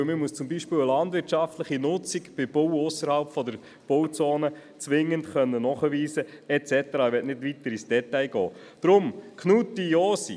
Denn man muss zum Beispiel eine landwirtschaftliche Nutzung beim Bauen ausserhalb der Bauzone zwingend nachweisen können.